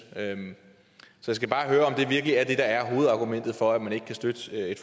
så jeg skal bare høre om det virkelig er det der er hovedargumentet for at man ikke kan støtte